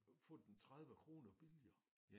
Få den 30 kroner billigere